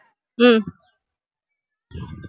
உம்